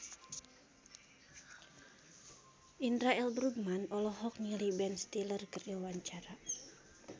Indra L. Bruggman olohok ningali Ben Stiller keur diwawancara